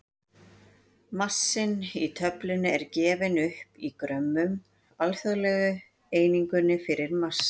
Massinn í töflunni er gefinn upp í grömmum, alþjóðlegu einingunni fyrir massa.